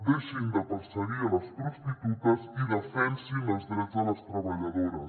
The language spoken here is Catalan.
deixin de perseguir les prostitutes i defensin els drets de les treballadores